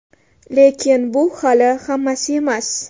Lekin bu hali hammasi emas!